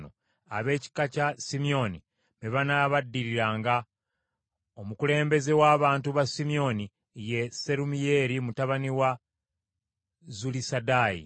Ab’ekika kya Simyoni be banaabaddiriranga. Omukulembeze w’abantu ba Simyoni ye Serumiyeeri mutabani wa Zulisadaayi.